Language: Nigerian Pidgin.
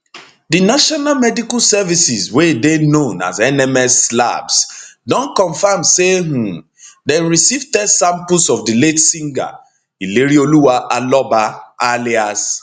di national medical services wey dey known as nms labs don confam say um dem receive test samples of di late singer ilerioluwa aloba alias